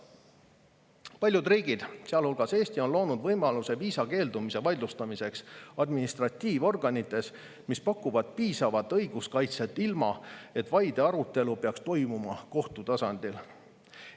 Paljud riigid, sealhulgas Eesti, on loonud võimaluse viisa keeldumise vaidlustamiseks administratiivorganites, mis pakuvad piisavat õiguskaitset, ilma et vaide arutelu peaks toimuma kohtu tasandil.